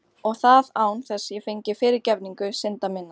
Og það án þess ég fengi fyrirgefningu synda minna.